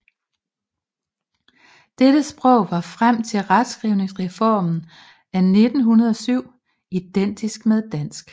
Dette sprog var frem til retskrivningsreformen af 1907 identisk med dansk